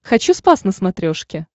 хочу спас на смотрешке